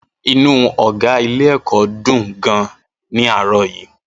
Inú ọ̀gá ilé-ẹ̀kọ́ dùn gan-an ní àárọ̀ yìí.